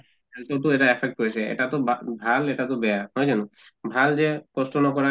health তো এটা affect পৰিছে, এটাতো ভাল এটাতো বেয়া নহয় জানো? ভাল যে কষ্ট নকৰাকে